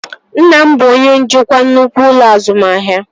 Nna m bụ onye njikwa nnukwu ụlọ azụmahịa